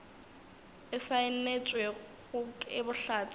e saenetšwego ke bohlatse bjo